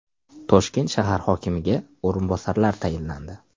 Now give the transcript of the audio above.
Toshkent shahar hokimiga o‘rinbosarlar tayinlandi.